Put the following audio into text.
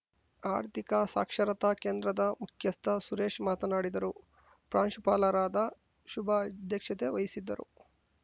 ಆರ್ಥಿಕ ಸಾಕ್ಷರತಾ ಕೇಂದ್ರದ ಮುಖ್ಯಸ್ಥ ಸುರೇಶ್‌ ಮಾತನಾಡಿದರು ಪ್ರಾಂಶುಪಾಲರಾದ ಶುಭಾ ಅಧ್ಯಕ್ಷತೆ ವಹಿಸಿದ್ದರು